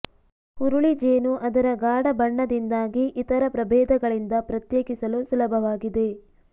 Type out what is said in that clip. ಹುರುಳಿ ಜೇನು ಅದರ ಗಾಢ ಬಣ್ಣದಿಂದಾಗಿ ಇತರ ಪ್ರಭೇದಗಳಿಂದ ಪ್ರತ್ಯೇಕಿಸಲು ಸುಲಭವಾಗಿದೆ